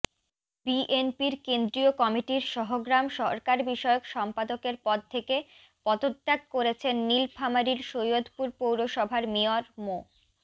বিএনপির কেন্দ্রীয় কমিটির সহগ্রাম সরকারবিষয়ক সম্পাদকের পদ থেকে পদত্যাগ করেছেন নীলফামারীর সৈয়দপুর পৌরসভার মেয়র মো